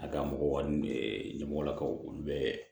A ka mɔgɔw ka ɲɛmɔgɔlakaw olu bɛ